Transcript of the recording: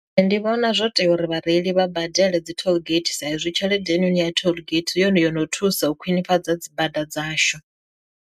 Ndi vhona zwo tea uri vhareili vha badele dzi tollgate saizwi tshelede hei noni ya tollgate hu yone yono thusa u khwinifhadza dzi bada dzashu.